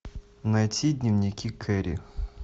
найти дневники кэрри